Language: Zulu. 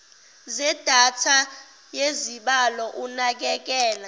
zedatha yezibalo unakekelo